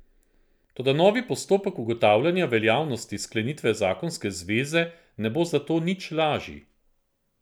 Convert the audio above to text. Toda novi postopek ugotavljanja veljavnosti sklenitve zakonske zveze ne bo zato nič lažji.